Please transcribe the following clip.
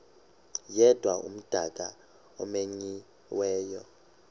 yedwa umdaka omenyiweyo